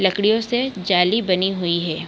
लकड़ियों से जाली बनी हुई है।